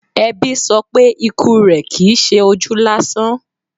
Ẹbí sọ pé ikú rẹ̀ Kìí ṣe ojú lásán.